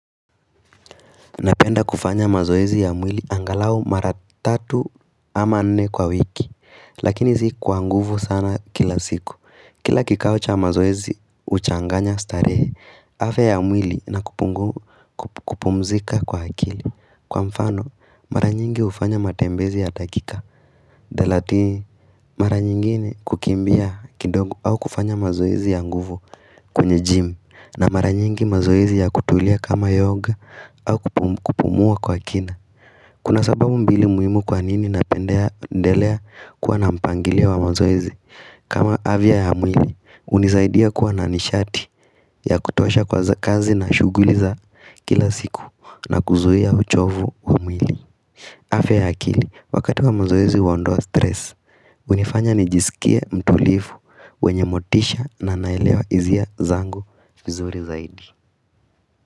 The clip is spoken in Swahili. Napenda kufanya mazoezi ya mwili angalau mara tatu ama nne kwa wiki Lakini zi kuwa nguvu sana kila siku Kila kikao cha mazoezi uchanganya starehe afya ya mwili na kupumzika kwa akili Kwa mfano mara nyingi ufanya matembezi ya dakika Dalati mara nyingine kukimbia kidogo au kufanya mazoezi ya nguvu kwenye jim na maranyingi mazoizi ya kutulia kama yoga au kupumua kwa kina Kuna sababu mbili muhimu kwa nini napendea ndelea kuwa na mpangilio wa mazoezi kama avya ya mwili, unizaidia kuwa na nishati ya kutuasha kwa za kazi na shughuli za kila siku na kuzuia uchovu wa mwili afya ya akili, wakati wa mazoezi uondoa stress, unifanya nijisikia mtulifu wenye motisha na naelewa izia zangu fizuri zaidi.